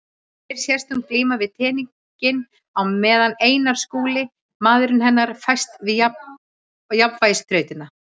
Hér sést hún glíma við teninginn á meðan Einar Skúli, maður hennar, fæst við jafnvægisþrautina.